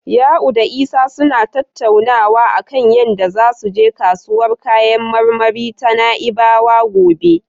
Ya'u da Isa suna tattaunawa a kan yadda zasu je kasuwar kayan marmari ta Na'ibawa gobe.